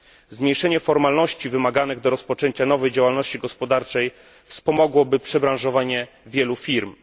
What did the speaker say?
Zmniejszenie formalności wymaganych do rozpoczęcia nowej działalności gospodarczej wspomogłoby przebranżowienie wielu firm.